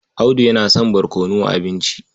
Audu yana son barkono a abinci.